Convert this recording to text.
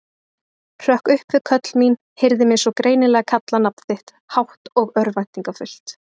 Hrökk upp við köll mín, heyrði mig svo greinilega kalla nafn þitt, hátt og örvæntingarfullt.